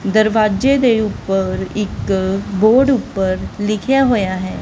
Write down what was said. ਦਰਵਾੱਜੇ ਦੇ ਊਪਰ ਇੱਕ ਬੋਰਡ ਊਪਰ ਲਿਖਿਆ ਹੋਇਆ ਹੈ।